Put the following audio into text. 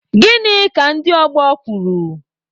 Gịnị ka ndị ọgbọ kwuru?